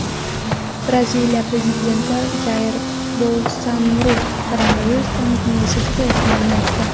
Braziliya prezidenti Jair Bolsonaru koronavirus pandemiyasi tugayotganini aytdi.